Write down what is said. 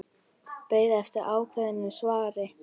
Beið eftir ákveðnu svari.